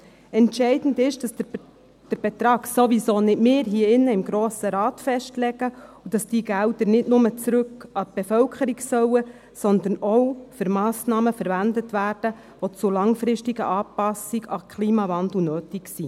– Entscheidend ist, dass nicht wir im Grossen Rat den Betrag festlegen und dass die Gelder nicht nur zurück an die Bevölkerung fliessen sollen, sondern dass diese auch für Massnahmen verwendet werden, die zur langfristigen Anpassung an den Klimawandel nötig sind.